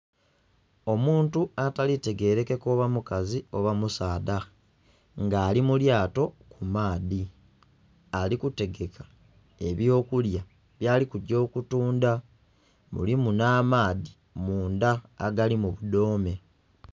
Omuntu atali tegerekeka oba mukazi oba musaadha nga ali mulyato ku maadhi ali kutegeka ebyo kulya byali kugya okutundha mulimu nha maadhi mundha agali mu obudhome.